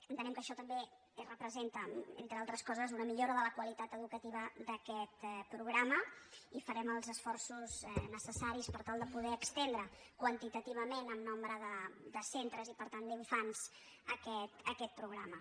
entenem que això també representa entre altres coses una millora de la qualitat educativa d’a·quest programa i farem els esforços necessaris per tal de poder estendre quantitativament a un major nombre de centres i per tant d’infants aquest pro·grama